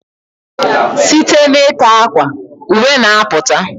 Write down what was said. Site n ika akwa, uwe n aputa